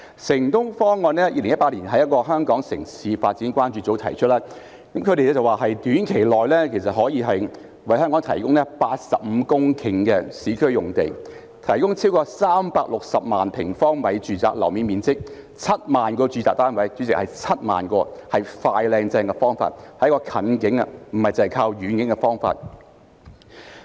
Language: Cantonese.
"城東方案"在2018年由香港城市發展關注組提出，他們指出可以在短期內為香港提供85公頃的市區用地，亦可提供超過360萬平方米住宅樓面面積及7萬個住宅單位——主席，是7萬個——是"快、靚、正"的方法，是一個近景，不只是靠遠景的方法。